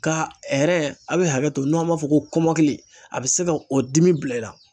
Ka a bɛ hakɛto n'o b'a fɔ ko kɔmɔkili a bɛ se ka o dimi bila i la.